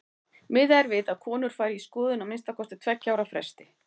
Miðað er við að konur fari í skoðun á að minnsta kosti tveggja ára fresti.